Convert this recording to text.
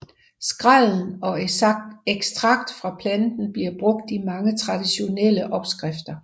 Skrællen og ekstrakt fra planten bliver brugt i mange traditionelle opskrifter